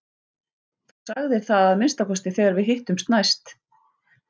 Þú sagðir það að minnsta kosti þegar við hittumst næst.